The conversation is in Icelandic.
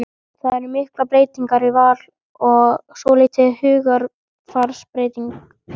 Það eru miklar breytingar í Val og svolítil hugarfarsbreyting?